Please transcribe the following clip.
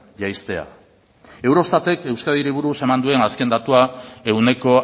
jaistea eurostatek euskadiri buruz eman duen azken datua ehuneko